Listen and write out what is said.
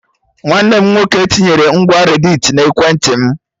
Nwanne m nwoke tinyere ngwa redditi na ekwentị m